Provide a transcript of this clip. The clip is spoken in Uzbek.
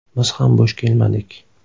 Biz ham bo‘sh kelmadik.